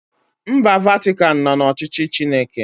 Mba Vatikan nọ n'ọchịchị Chineke